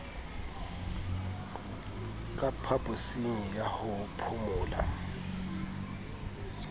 ka phaposing ya ho phomola